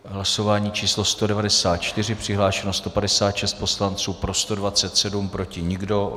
Hlasování číslo 194: přihlášeno 156 poslanců, pro 127, proti nikdo.